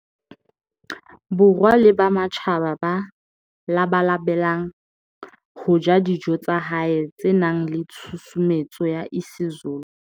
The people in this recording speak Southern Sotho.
Borwa le ba matjhaba ba labalabelang ho ja dijo tsa hae tse nang le tshusumetso ya isiZulu.